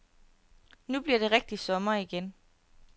Nu bliver det rigtig sommer igen.